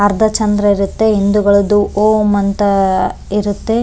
ಅರ್ಧ ಚಂದ್ರ ಇರುತ್ತೆ ಹಿಂದುಗಳದ್ದು ಓಂ ಅಂತ ಇರುತ್ತೆ --